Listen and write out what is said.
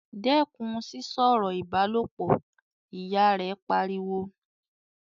"Dẹ́kun sísọ̀rọ̀ ìbálòpọ̀!", Ìyá rẹ̀ pariwo